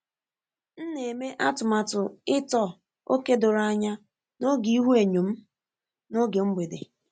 M na-eme atụmatụ ịtọ ókè doro anya n'oge ihuenyo m n'oge mgbede.